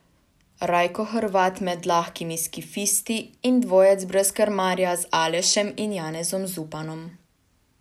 Rajko Hrvat med lahkimi skifisti in dvojec brez krmarja z Alešem in Janezom Zupanom.